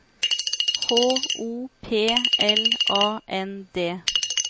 H O P L A N D